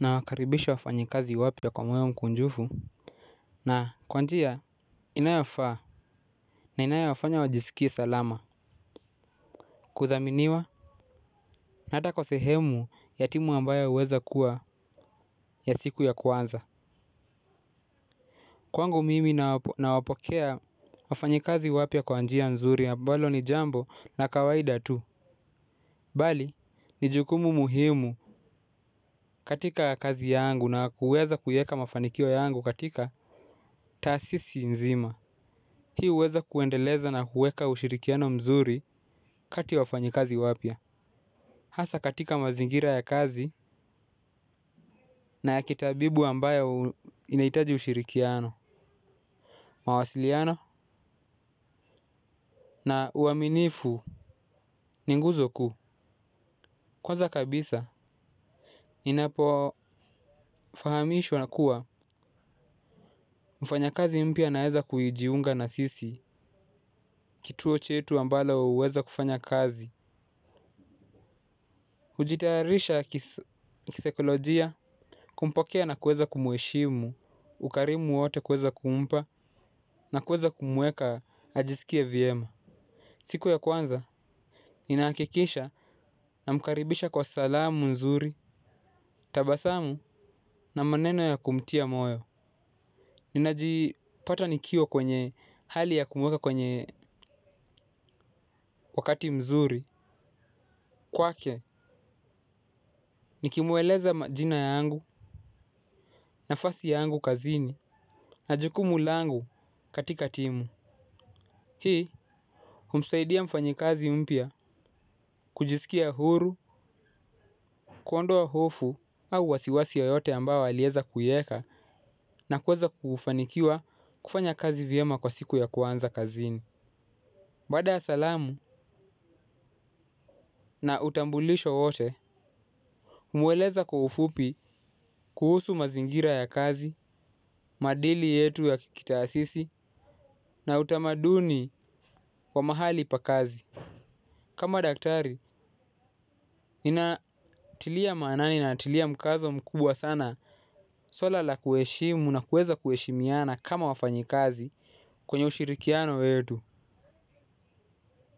Nawakaribisha wafanyakazi wapya kwa moyo mkunjufu. Na kwa njia inayofaa na inayofanya wajisikie salama. Kudhaminiwa na hata kwa sehemu ya timu ambayo huweza kuwa ya siku ya kwanza. Kwangu mimi nawapokea wafanyekazi wapya kwa njia nzuri ambalo ni jambo la kawaida tu bali ni jukumu muhimu katika kazi yangu na kuweza kuiweka mafanikio yangu katika taasisi nzima. Hii huweza kuendeleza na kuweka ushirikiano mzuri kati ya wafanyikazi wapya. Hasa katika mazingira ya kazi na ya kitabibu ambayo inaitaji ushirikiano. Mawasiliano na uaminifu ni nguzo kuu. Kwanza kabisa inapofahamishwa na kuwa mfanyakazi mpya naweza kuijiunga na sisi kituo chetu ambalo huweza kufanya kazi kujitayarisha kisaikolojia kumpokea na kuweza kumheshimu. Ukarimu wote kuweza kumpa na kuweza kumweka ajisikie vyema. Siku ya kwanza ninahakikisha namkaribisha kwa salamu mzuri. Tabasamu na maneno ya kumtia moyo. Ninajipata nikiwa kwenye hali ya kumweka kwenye wakati mzuri. Kwake nikimweleza majina yangu nafasi yangu kazini. Na jukumu langu katika timu. Hii humsaidia mfanyikazi mpya kujisikia huru. Kuondoa hofu au wasiwasi yoyote ambayo alieza kuieka na kuweza kufanikiwa kufanya kazi vyema kwa siku ya kwanza kazini. Baada ya salamu na utambulisho wote humweleza kwa ufupi kuhusu mazingira ya kazi, maadili yetu ya kikitaasisi na utamaduni wa mahali pa kazi. Kama daktari, ninatilia maanani natilia mkazo mkubwa sana. Swala la kuheshimu na kuweza kuheshimiana kama wafanyikazi kwenye ushirikiano wetu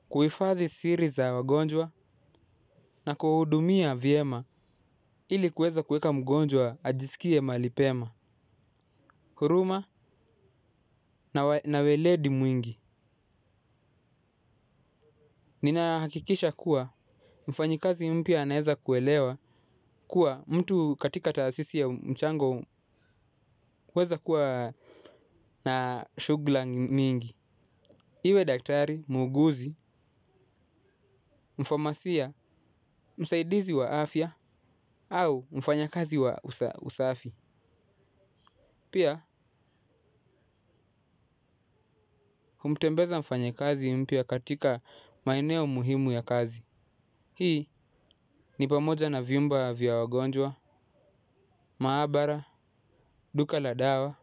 kuhifadhi siri za wagonjwa na kuwahudumia vyema ili kuweza kuweka mgonjwa ajiskie mahali pema. Huruma na weledi mwingi. Ninahakikisha kuwa mfanyikazi mpya anaeza kuelewa kuwa mtu katika taasisi ya mchango kueza kuwa na shugla mingi. Iwe daktari, muuguzi, mfomasia, msaidizi wa afya, au mfanyakazi wa usafi. Pia, humtembeza mfanyakazi mpya katika maeneo muhimu ya kazi. Hii, ni pamoja na vyumba vya wagonjwa, maabara, duka la dawa,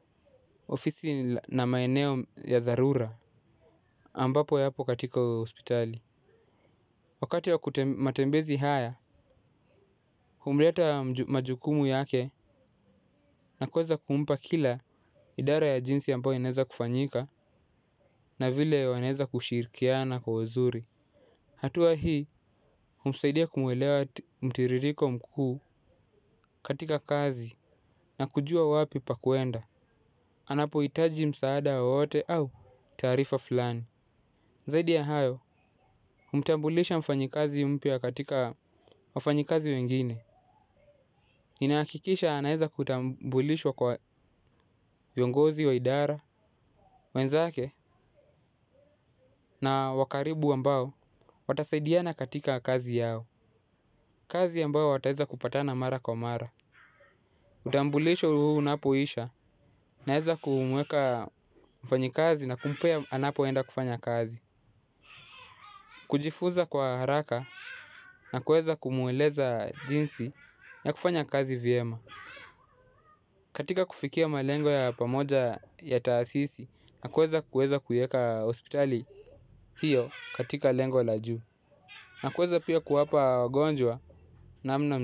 ofisi na maeneo ya dharura ambapo yapo katika hospitali. Wakati wa kute matembezi haya, humreta majukumu yake na kuweza kumpa kila idara ya jinsi ambayo inaeza kufanyika na vile wanaeza kushirikiana kwa uzuri. Hatua hii, humsaidia kumwelewa mtiririko mkuu katika kazi na kujua wapi pa kuenda. Anapohitaji msaada wowote au taarifa fulani. Zaidi ya hayo, humtambulisha mfanyikazi mpya katika wafanyikazi wengine. Ninahakikisha anaeza kutambulishwa kwa viongozi wa idara, wenzake na wa karibu ambao watasaidiana katika kazi yao kazi ambayo wataweza kupatana mara kwa mara utambulisho huu unapoisha, naeza kumweka mfanyikazi na kumpea anapoenda kufanya kazi. Kujifuza kwa haraka na kueza kumueleza jinsi ya kufanya kazi vyema. Katika kufikia malengo ya pamoja ya taasisi na kueza kueza kuieka hospitali hiyo katika lengo la juu. Na kueza pia kuwapa wagonjwa namna m.